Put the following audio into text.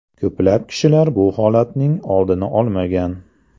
Ko‘plab kishilar bu holatning oldini olmagan.